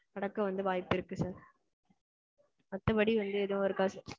நடக்க வந்து வாய்ப்பு இருக்கு sir. மத்தபடி வந்து எதும் இருக்காது sir.